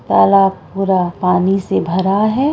तालाब पूरा पानी से भरा है|